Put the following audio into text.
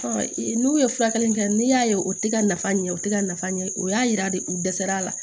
n'u ye furakɛli min kɛ n'i y'a ye o tɛ ka nafa ɲɛ o tɛ ka nafa ɲɛ o y'a yira de u dɛsɛra a la